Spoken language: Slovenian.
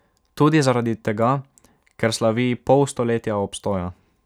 Tudi zaradi tega, ker slavi pol stoletja obstoja.